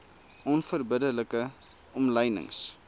onverbidde like omlynings